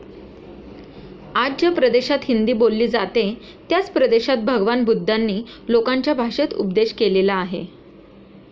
आज ज्या प्रदेशात हिंदी बोलली जाते त्याच प्रदेशात भगवान बुद्धांनी लोकांच्या भाषेत उपदेश केलेला आहे.